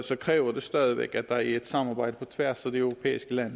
kræver det stadig væk at der er et samarbejde på tværs af de europæiske lande